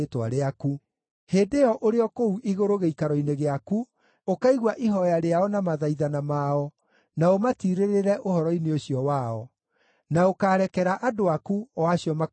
hĩndĩ ĩyo ũrĩ o kũu igũrũ gĩikaro-inĩ gĩaku, ũkaigua ihooya rĩao na mathaithana mao na ũmatirĩrĩre ũhoro-inĩ ũcio wao. Na ũkaarekera andũ aku, o acio makwĩhĩirie.